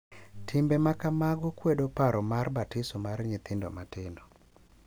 Timbe ma kamago kwedo paro mar batiso mar nyithindo matindo, .